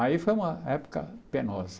Aí foi uma época penosa.